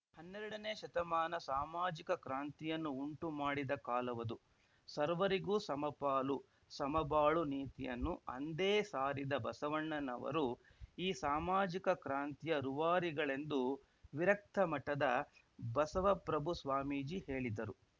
ಹನ್ನೆರಡನೇ ಶತಮಾನ ಸಾಮಾಜಿಕ ಕ್ರಾಂತಿಯನ್ನು ಉಂಟು ಮಾಡಿದ ಕಾಲವದು ಸರ್ವರಿಗೂ ಸಮಪಾಲು ಸಮ ಬಾಳು ನೀತಿಯನ್ನು ಅಂದೇ ಸಾರಿದ ಬಸವಣ್ಣನವರು ಈ ಸಾಮಾಜಿಕ ಕ್ರಾಂತಿಯ ರುವಾರಿಗಳೆಂದು ವಿರಕ್ತಮಠದ ಬಸವಪ್ರಭು ಸ್ವಾಮೀಜಿ ಹೇಳಿದರು